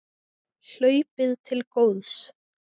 Hlaupið til góðs